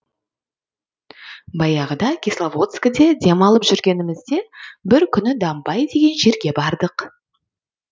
баяғыда кисловодскіде демалып жүргенімізде бір күні дамбай деген жерге бардық